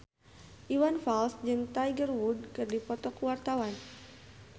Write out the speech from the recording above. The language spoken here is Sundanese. Iwan Fals jeung Tiger Wood keur dipoto ku wartawan